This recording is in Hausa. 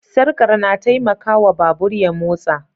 Sarkar na taimaka wa babur ya motsa.